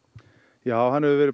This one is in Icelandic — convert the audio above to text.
já hann hefur verið